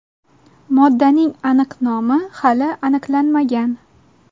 Moddaning aniq nomi hali aniqlanmagan.